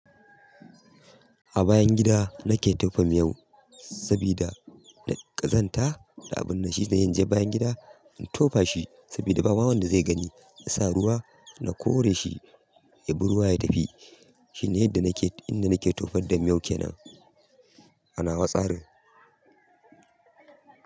A bayan gida nake tofa miyau sabida ƙazanta, na abun nashi ne inje bayan gida in tofa shi sabida ba ma wanda zai gani. Na sa ruwa na kore shi ya bi ruwa ya tafi. Shi ne yadda nake, duk inda nake tofa da miyau kenan. A nawa tsarin.